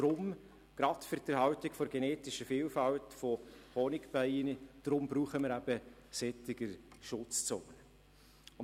Gerade für die Erhaltung der genetischen Vielfalt von Honigbienen brauchen wir deshalb solche Schutzzonen.